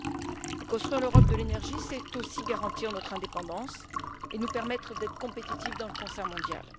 Mais construire l'Europe de l'énergie, c'est aussi garantir notre indépendance et nous permettre d'être compétitifs dans le concert mondial.